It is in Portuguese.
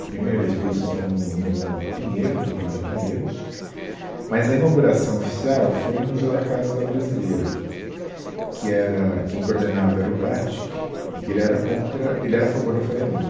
A primeira exposição foi no no Pinheiros, no Clube Pinheiros, mas a inauguração oficial foi no Museu da Casa Brasileira, que era... quem coordenava era o Bratic, e que ele era contra ele era a favor da Faria Lima.